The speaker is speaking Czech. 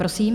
Prosím.